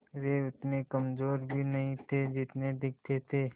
वे उतने कमज़ोर भी नहीं थे जितने दिखते थे